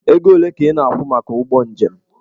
Ego ole ka ị na-akwụ maka ụgbọ njem?